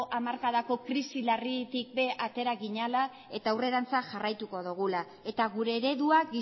hamarkadako krisi larritik ere atera ginela eta aurrerantz jarraituko dugula eta gure eredua